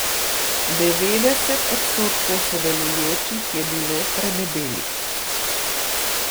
Devetdeset odstotkov sodelujočih je bilo predebelih.